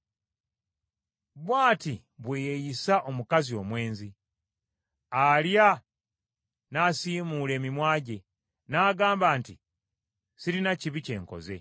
Bw’ati bwe yeeyisa omukazi omwenzi: alya n’asiimuula emimwa gye n’agamba nti, “Sirina kibi kye nkoze.”